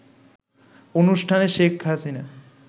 অনুষ্ঠানে শেখ হাসিনা